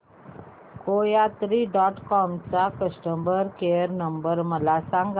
कोयात्री dot com चा customer care number मला सांगा